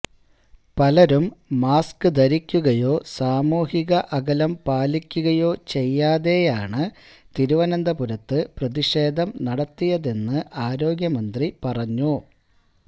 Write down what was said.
പലരും മാസ്ക് ധരിക്കുകയോ സാമൂഹിക അകലം പാലിക്കുകയോ ചെയ്യാതെയാണ് തിരുവനന്തപുരത്ത് പ്രതിഷേധം നടത്തിയതെന്ന് ആരോഗ്യമന്ത്രി പറഞ്ഞു